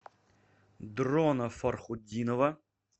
дрона фархутдинова